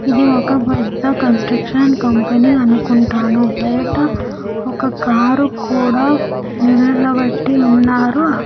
ఇది ఒక్క పెద్ద కన్స్ట్రక్షన్ కంపెనీ అనుకుంటాను బయట ఒక్క కార్ కూడా నిలబెట్టి ఉన్నారు ఆ--